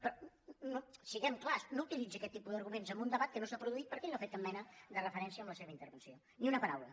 però siguem clars no utilitzi aquest tipus d’arguments en un debat que no s’ha produït perquè ell no hi ha fet cap mena de referència en la seva intervenció ni una paraula